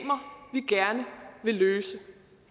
gerne vil løse